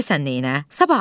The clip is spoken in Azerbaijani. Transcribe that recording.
Qəmbər, bilirsən neylə?